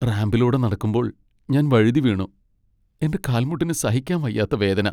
റാമ്പിലൂടെ നടക്കുമ്പോൾ ഞാൻ വഴുതിവീണു. എന്റെ കാൽമുട്ടിന് സഹിക്കാൻ വയ്യാത്ത വേദന.